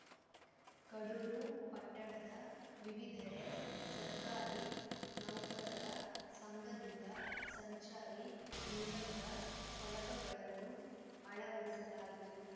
ಕಡೂರು ಪಟ್ಟಣದ ವಿವಿಧೆಡೆ ಸರ್ಕಾರಿ ನೌಕರರ ಸಂಘದಿಂದ ಸಂಚಾರಿ ನಿಯಮದ ಫಲಕಗಳನ್ನು ಅಳವಡಿಸಲಾಯಿತು